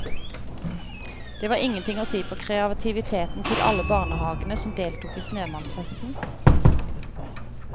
Det var ingenting å si på kreativiteten til alle barnehagene som deltok i snømannfesten.